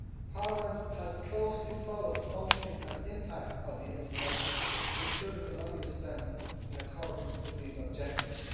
Parliament has closely followed the functioning and impact of the instrument to ensure that the money is spent in accordance with these objectives.